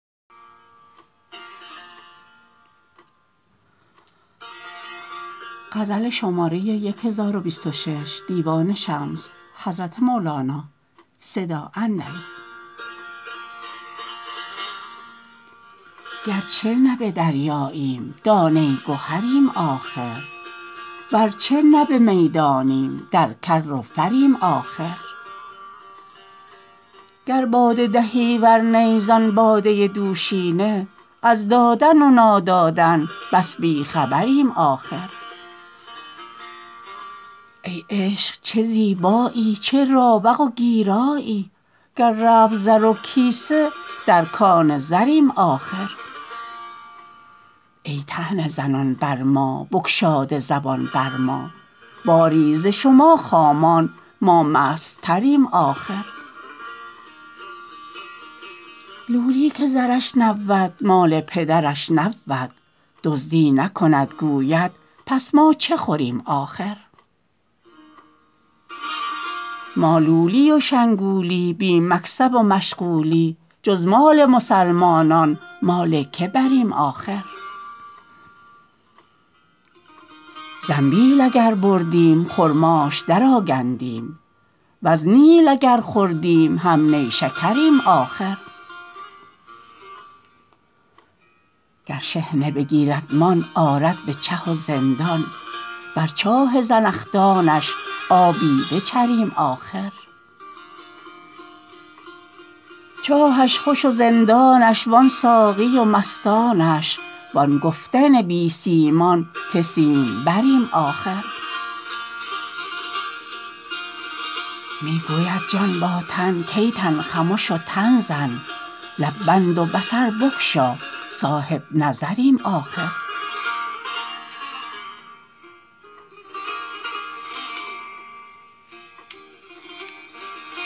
گرچه نه به دریاییم دانه گهریم آخر ورچه نه به میدانیم در کر و فریم آخر گر باده دهی ور نی زان باده دوشینه از دادن و نادادن بس بی خبریم آخر ای عشق چه زیبایی چه راوق و گیرایی گر رفت زر و کیسه در کان زریم آخر ای طعنه زنان بر ما بگشاده زبان بر ما باری ز شما خامان ما مستتریم آخر لولی که زرش نبود مال پدرش نبود دزدی نکند گوید پس ما چه خوریم آخر ما لولی و شنگولی بی مکسب و مشغولی جز مال مسلمانان مال کی بریم آخر زنبیل اگر بردیم خرماش درآگندیم وز نیل اگر خوردیم هم نیشکریم آخر گر شحنه بگیردمان آرد به چه و زندان بر چاه زنخدانش آبی بچریم آخر چاهش خوش و زندانش وان ساقی و مستانش وان گفتن بی سیمان که سیمبریم آخر می گوید جان با تن کای تن خمش و تن زن لب بند و بصر بگشا صاحب نظریم آخر